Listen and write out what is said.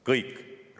Kõik!